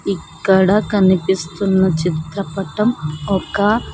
ఇక్కడ కనిపిస్తున్న చిత్రపటం ఒక.